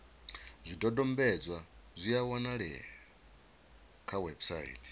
zwidodombedzwa zwi a wanalea kha website